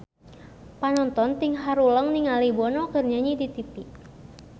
Panonton ting haruleng ningali Bono keur nyanyi di tipi